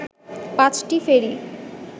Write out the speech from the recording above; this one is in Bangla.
পাঁচটি ফেরি